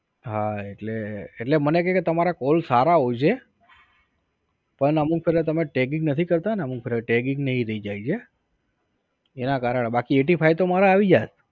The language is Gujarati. હા એટલે એટલે મને કે તમારા call સારા હોય છે પણ અમુક ફેરા તમે tagging નથી કરતા ને અમુક ફેરા tagging ને ઇ રઇ જાય છે એનાં કારણ એ બાકી eighty five તો મારે આવી જાય